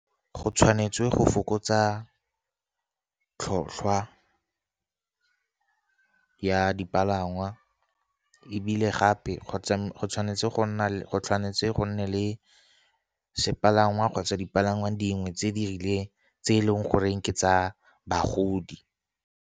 Go tshwanetswe go fokotsa tlhotlhwa ya dipalangwa, ebile gape kgotsa go tshwanetse go nne le sepalangwa kgotsa dipalangwa dingwe tse di rileng, tse e leng goreng ke tsa bagodi.